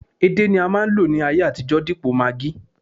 edé ni a ma nlo ní ayé àtijó dipo maggi